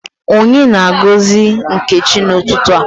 Onye na-agozi Nkechi n’ututu a?